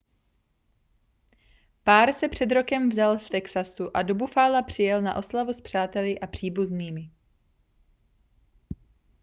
pár se před rokem vzal v texasu a do buffala přijel na oslavu s přáteli a příbuznými